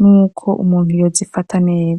nuko umuntu yo zifata neza.